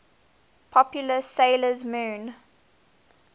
popular 'sailor moon